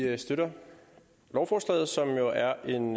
at vi støtter lovforslaget som jo er en